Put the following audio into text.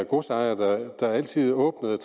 godsejer der altid åbnede